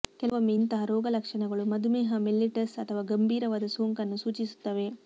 ಕೆಲವೊಮ್ಮೆ ಇಂತಹ ರೋಗಲಕ್ಷಣಗಳು ಮಧುಮೇಹ ಮೆಲ್ಲಿಟಸ್ ಅಥವಾ ಗಂಭೀರವಾದ ಸೋಂಕನ್ನು ಸೂಚಿಸುತ್ತವೆ